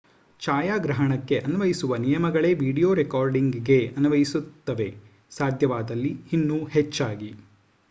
ಛಾಯಾಗ್ರಹಣಕ್ಕೆ ಅನ್ವಯಿಸುವ ನಿಯಮಗಳೇ ವೀಡಿಯೋ ರೆಕಾರ್ಡಿಂಗ್‌ಗೆ ಅನ್ವಯಿಸುತ್ತವೆ ಸಾಧ್ಯವಾದಲ್ಲಿ ಇನ್ನೂ ಹೆಚ್ಚಾಗಿ